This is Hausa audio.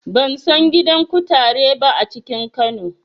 Ban san gidan kutare ba a cikin Kano.